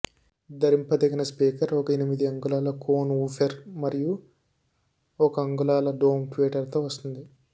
ధరింపదగిన speaker ఒక ఎనిమిది అంగుళాల కోన్ వూఫెర్ మరియు ఒక అంగుళాల డోమ్ ట్వీటర్తో వస్తుంది